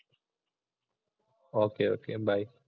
ഒക്കെ, okay, by